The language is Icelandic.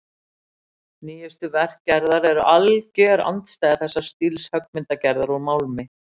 Nýjustu verk Gerðar eru alger andstæða þess stíls höggmyndagerðar úr málmi.